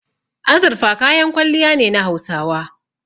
Azurfa kayan kwalliya ne na Hausawa.